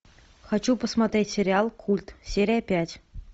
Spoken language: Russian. хочу посмотреть сериал культ серия пять